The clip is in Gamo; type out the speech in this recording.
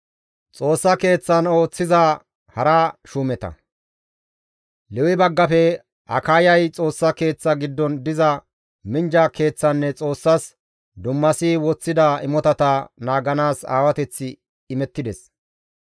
Lewe baggafe Akayay Xoossa Keeththa giddon diza minjja keeththanne Xoossas dummasi woththida imotata naaganaas aawateththi izas imettides.